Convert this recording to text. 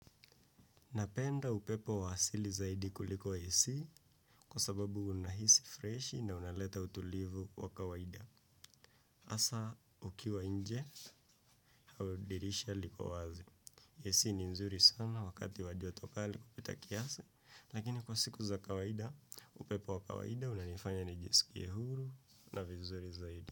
Napenda upepo wa asili zaidi kuliko AC kwa sababu unahisi freshi na unaleta utulivu wa kawaida. Hasa ukiwa nje, au dirisha liko wazi. AC ni nzuri sana wakati wa joto kali kupita kiasi, lakini kwa siku za kawaida, upepo wa kawaida unanifanya nijisikie huru na vizuri zaidi.